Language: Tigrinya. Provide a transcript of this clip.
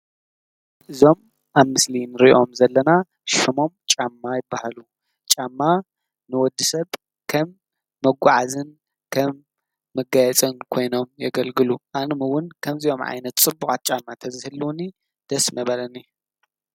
እዞም ኣብ ምስሊ እንሪኦም ዘለና ሽሞም ጫማ ይባሃሉ። ጫማ ንወዲሰብ ከም መጓዓዝን ከም መጋያፅን ኮይኖም የገልግሉ። ኣነ እውን ከምዚኦም ፅቡቃት ጫማ ተዝህልውኒ ደስ ምበለኒ።